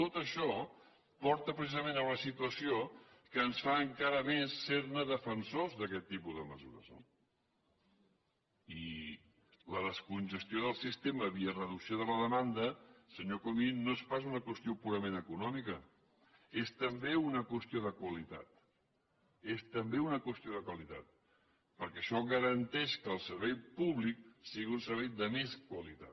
tot això porta precisament a una situació que ens fa encara més ser ne defensors d’aquest tipus de mesures no i la descongestió del sistema via reducció de la demanda senyor comín no és pas una qüestió purament econòmica és també una qüestió de qualitat és també una qüestió de qualitat perquè això garanteix que el servei públic sigui un servei de més qualitat